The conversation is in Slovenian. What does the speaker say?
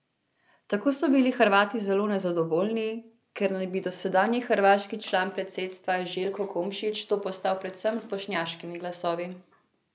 Tako so bili Hrvati zelo nezadovoljni, ker naj bi dosedanji hrvaški član predsedstva Željko Komšić to postal predvsem z bošnjaškimi glasovi.